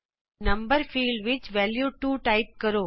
number ਖੇਤਰ ਵਿਚ value 2 type ਕਰੋ